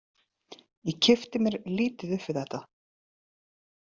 Ég kippti mér lítið upp við þetta.